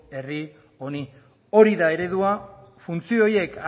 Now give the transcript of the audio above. herri honi hori da eredua funtzio horiek